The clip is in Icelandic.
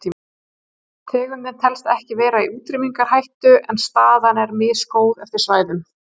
Tegundin telst ekki vera í útrýmingarhættu en staðan er misgóð eftir svæðum.